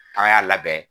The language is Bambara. An y'a labɛn